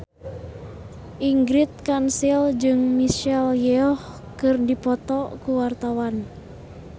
Ingrid Kansil jeung Michelle Yeoh keur dipoto ku wartawan